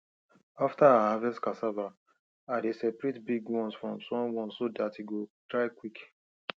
after i harvest cassava i dey separate big ones from small ones so dat e go dry quick